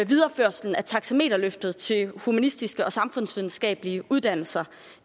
videreførelsen af taxameterløftet til humanistiske og samfundsvidenskabelige uddannelser